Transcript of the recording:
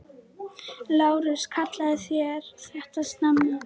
LÁRUS: Kallið þér þetta snemma?